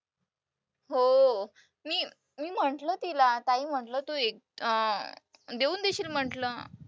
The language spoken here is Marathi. हो. मी मी म्हंटलं तिला ताई म्हंटलं तू अं देऊन देशील म्हंटलं.